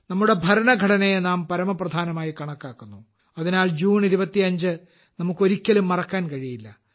നമ്മുടെ ഭരണഘടനയെ നാം പരമപ്രധാനമായി കണക്കാക്കുന്നു അതിനാൽ ജൂൺ 25 നമുക്ക് ഒരിക്കലും മറക്കാൻ കഴിയില്ല